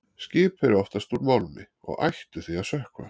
Skip eru oftast úr málmi og ættu því að sökkva.